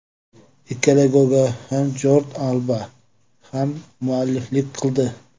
Ikkala golga ham Jordi Alba hammualliflik qildi.